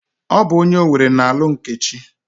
Ọ bụ onye Owere na-alụ Nkechi.